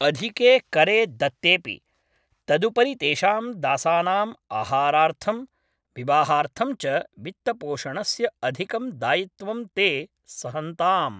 अधिके करे दत्तेपि, तदुपरि तेषां दासानाम् आहारार्थं, विवाहार्थं च वित्तपोषणस्य अधिकं दायित्वं ते सहन्ताम्।